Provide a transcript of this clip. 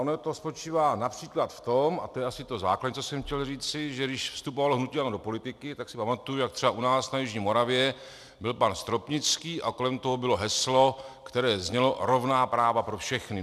Ono to spočívá například v tom, a to je asi to základní, co jsem chtěl říci, že když vstupovalo hnutí ANO do politiky, tak si pamatuju, jak třeba u nás na jižní Moravě byl pan Stropnický a kolem toho bylo heslo, které znělo "rovná práva pro všechny".